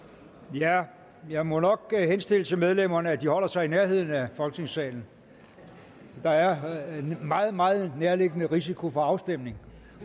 jeg jeg må nok henstille til medlemmerne at de holder sig i nærheden af folketingssalen da der er en meget meget nærliggende risiko for afstemning